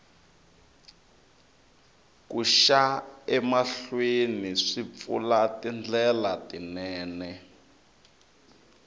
ku xa emahlweni swi pfula tindlela tinene